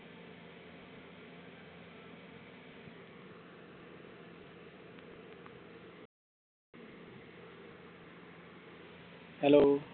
hello